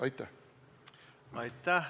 Aitäh!